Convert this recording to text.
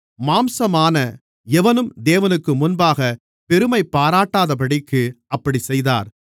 மாம்சமான எவனும் தேவனுக்கு முன்பாகப் பெருமைபாராட்டாதபடிக்கு அப்படிச் செய்தார்